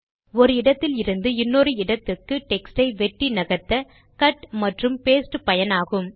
ஒரு இடத்தில் இருந்து இன்னொரு இடத்துக்கு டெக்ஸ்ட் யை வெட்டி நகர்த்த கட் மற்றும் பாஸ்டே பயனாகும்